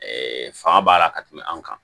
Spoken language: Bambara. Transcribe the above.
fanga b'a la ka tɛmɛ anw kan